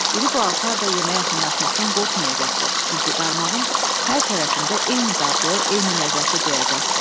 İri balıqlar da yemə yaxınlaşmaqdan qorxmayacaqdı, çünki qarmağın hər tərəfində eyni dadlı, eyni ləzzəti duyacaqdı.